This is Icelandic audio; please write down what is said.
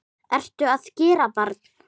ERTU AÐ GERA, BARN!